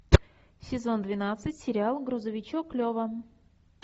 сезон двенадцать сериал грузовичок лева